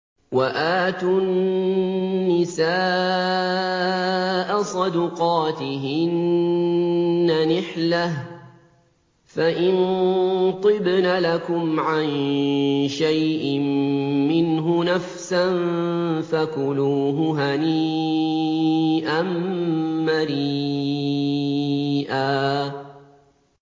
وَآتُوا النِّسَاءَ صَدُقَاتِهِنَّ نِحْلَةً ۚ فَإِن طِبْنَ لَكُمْ عَن شَيْءٍ مِّنْهُ نَفْسًا فَكُلُوهُ هَنِيئًا مَّرِيئًا